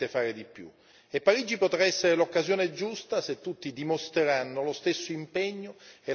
E Parigi potrà essere l'occasione giusta se tutti dimostreranno lo stesso impegno e la stessa tenacia.